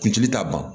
Kuntigi t'a ban